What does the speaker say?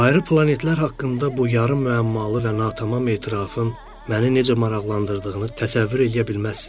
Ayrı planetlər haqqında bu yarım müəmmalı və natamam etirafın məni necə maraqlandırdığını təsəvvür eləyə bilməzsiniz.